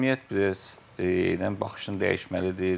Cəmiyyət, cəmiyyət bir az baxışını dəyişməlidir.